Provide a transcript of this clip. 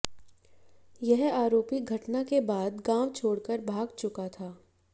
यह आरोपी घटना के बाद गांव छोड़कर भाग चुका था